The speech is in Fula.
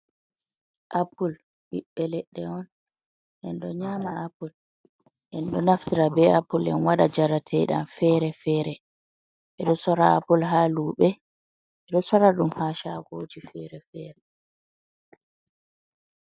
Apul ɓiɓɓe leɗɗe on, en ɗo nyama apul, en ɗo naftira be apul, en waɗa jarate ɗam feere-feere. Ɓe ɗo soora apul haa luɓe e ɗo soora ɗum haa shagoji feere-feere.